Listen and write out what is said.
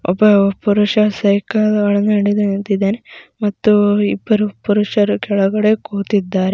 ಒಬ್ಬ ಪುರುಷ ಸೈಕಲ್ ಒಳಗಡೆ ನಿಂತಿದ್ದಾನೆ ಮತ್ತು ಇಬ್ಬರು ಪುರುಷರು ಕೆಳಗಡೆ ಕೂತಿದಾರೆ.